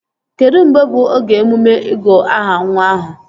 Kedụ mgbe bụ oge emume ịgụ aha nwa ahụ?